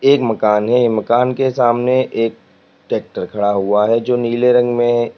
एक मकान है मकान के सामने एक ट्रैक्टर खड़ा हुआ है जो नीले रंग में--